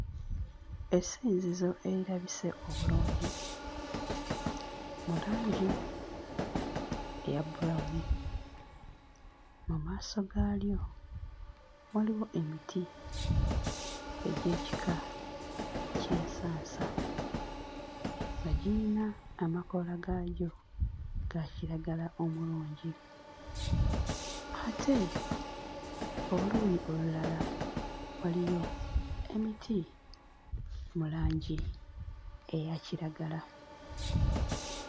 Essinzizo erirabise obulungi mu langi eya brown. Mu maaso gaalyo waliwo emiti egy'ekika ky'ensansa nga girina amakoola gaagyo ga kiragala omulungi. Ate oluuyi olulala waliyo emiti mu langi eya kiragala.